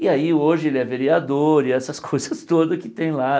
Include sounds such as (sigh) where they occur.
E aí hoje ele é vereador e essas (laughs) coisas todas que tem lá.